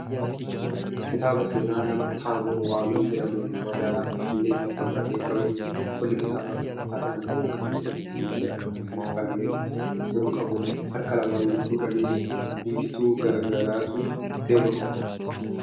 Kitaaba seenaa nama Taabor Waamii jedhamuun magaalaa Finfinneetti kan barreeffamedha. Qolli kitaaba kanaa harka namaa kan walitti siiqee addaan ol banamee jiru qabudha. Harka lamaan gidduudhanis biiftuu galgalaatu iftee mul'atti.